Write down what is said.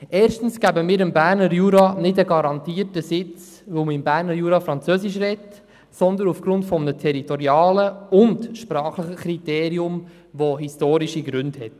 Erstens geben wir dem Berner Jura keinen garantierten Sitz, weil man im Berner Jura französisch spricht, sondern aufgrund eines territorialen und sprachlichen Kriteriums, das historische Gründe hat.